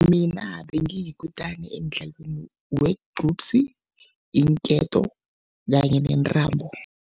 Mina bengiyikutani emdlalweni wegcupsi, iinketo kanye nentambo.